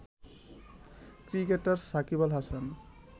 cricketer Shakib Al Hasan